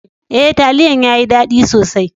E, talliyan ya yi dadi sosai.